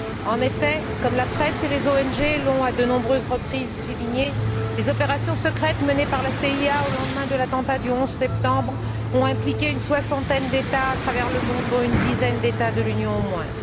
En effet, comme la presse et les ONG l'ont, à de nombreuses reprises, souligné, les opérations secrètes menées par la CIA au lendemain de l'attentat du 11 septembre ont impliqué une soixantaine d'États à travers le monde, dont une dizaine d'États de l'Union au moins.